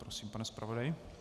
Prosím, pane zpravodaji.